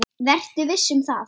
Vertu viss um það.